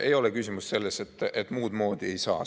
Ei ole küsimus selles, et muud moodi ei saa.